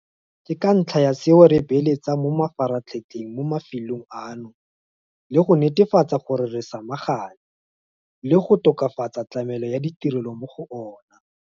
Ke ka ntlha ya seo re beeletsang mo mafaratlhatlheng mo mafelong ano le go netefatsa gore re samagana le go tokafatsa tlamelo ya ditirelo mo go ona.